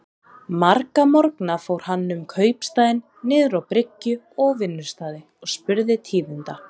Marga morgna fór hann um kaupstaðinn, niður á bryggju og á vinnustaði, og spurði tíðinda.